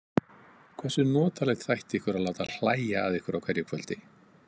Hversu notalegt þætti ykkur að láta hlæja að ykkur á hverju kvöldi?